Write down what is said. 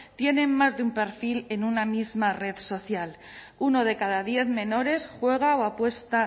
tienen más de un perfil en una misma red social uno de cada diez menores juega o apuesta